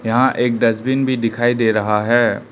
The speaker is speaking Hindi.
यहां एक डस्टबिन भी दिखाई दे रहा है।